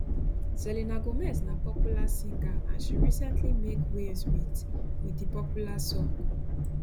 selena gomez na popular singer and she recently make waves wit wit di popular song